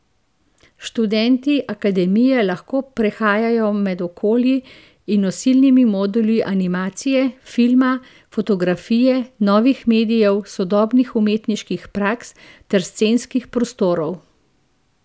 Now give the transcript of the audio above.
Študenti akademije lahko prehajajo med okolji in nosilnimi moduli animacije, filma, fotografije, novih medijev, sodobnih umetniških praks ter scenskih prostorov.